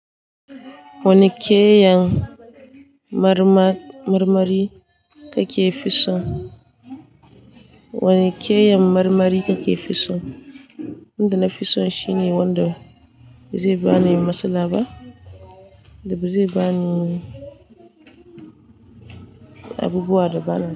Wani keyan marmar- marmari ka ke fison? Wani keyan marmari ka ke fison? Wanda na fison shi ne wanda ba zai bani matsala ba da ba zai bani abubuwa da bana so.